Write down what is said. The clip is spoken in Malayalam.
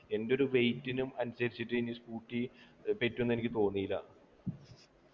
എൻ്റെ ഒരു weight നും അനുസരിച്ചിട്ട് ഇനി scooter പറ്റും എന്ന് എനിക്ക് തോന്നിയില്ല